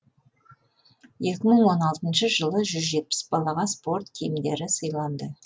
екі мың он алтыншы жылы жүз жетпіс балаға спорт киімдері сыйланды